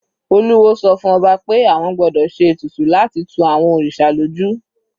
Olúwo sọ fún ọba pé àwọn gbọ́dọ̀ se ètùtù láti tu àwọn òrìṣà lójú.